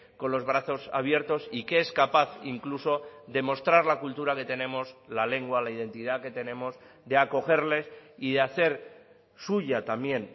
con los brazos abiertos y que es capaz incluso de mostrar la cultura que tenemos la lengua la identidad que tenemos de acogerles y de hacer suya también